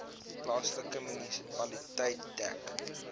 plaaslike munisipaliteit dek